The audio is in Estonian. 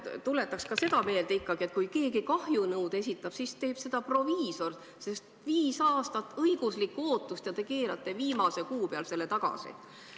Ma tuletan ka seda meelde, et kui keegi kahjunõude esitab, siis teeb seda proviisor: viis aastat õiguslikku ootust, ja te keerate peaaegu viimasel kuul selle tagasi!